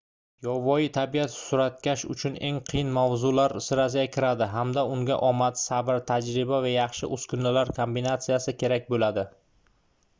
yovvoyi tabiat suratkash uchun eng qiyin mavzular sirasiga kiradi hamda unga omad sabr tajriba va yaxshi uskunalar kombinatsiyasi kerak boʻladi